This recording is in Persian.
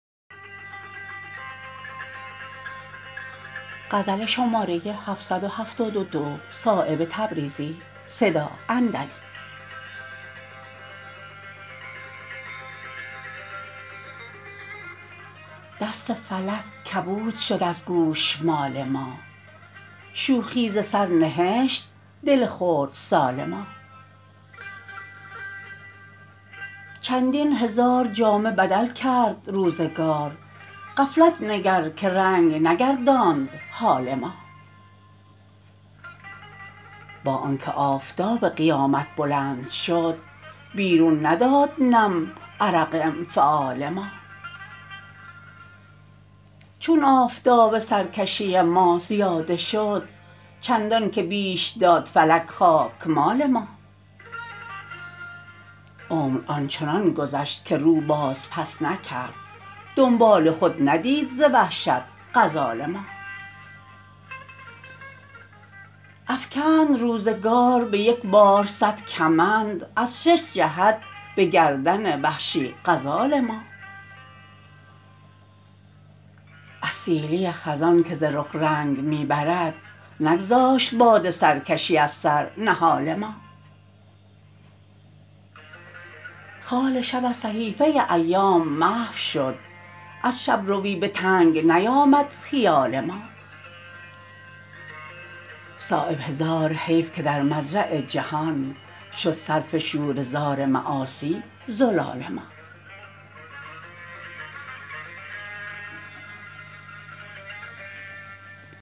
دست فلک کبود شد از گوشمال ما شوخی ز سر نهشت دل خردسال ما چندین هزار جامه بدل کرد روزگار غفلت نگر که رنگ نگرداند حال ما با آن که آفتاب قیامت بلند شد بیرون نداد نم عرق انفعال ما چون آفتاب سرکشی ما زیاده شد چندان که بیش داد فلک خاکمال ما عمر آنچنان گذشت که رو باز پس نکرد دنبال خود ندید ز وحشت غزال ما افکند روزگار به یکبار صد کمند از شش جهت به گردن وحشی غزال ما از سیلی خزان که ز رخ رنگ می برد نگذاشت باد سرکشی از سر نهال ما خال شب از صحیفه ایام محو شد از شبروی به تنگ نیامد خیال ما صایب هزار حیف که در مزرع جهان شد صرف شوره زار معاصی زلال ما